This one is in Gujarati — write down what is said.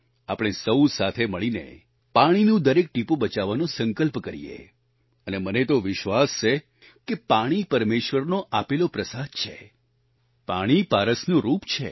આપણે સહુ સાથે મળીને પાણીનું દરેક ટીપું બચાવવાનો સંકલ્પ કરીએ અને મને તો વિશ્વાસ છે કે પાણી પરમેશ્વરનો આપેલો પ્રસાદ છે પાણી પારસનું રૂપ છે